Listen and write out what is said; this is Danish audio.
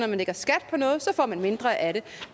man lægger skat på noget så får man mindre af det